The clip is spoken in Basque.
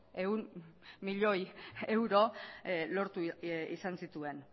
ehun milioi euro lortu izan zituen